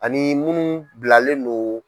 Ani munnu bilalen don.